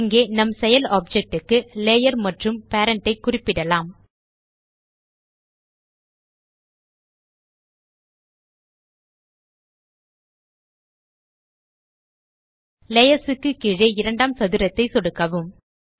இங்கே நம் செயல் ஆப்ஜெக்ட் க்கு லேயர் மற்றும் பேரண்ட் ஐ குறிப்பிடலாம் லேயர்ஸ் க்கு கீழே இரண்டாம் சதுரத்தை சொடுக்கவும்